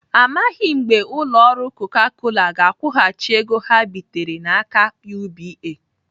Amaghị mgbe ụlọ ọrụ Coca Cola ga-akwụghachi ego ha bitere n'aka UBA.